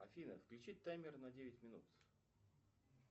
афина включи таймер на девять минут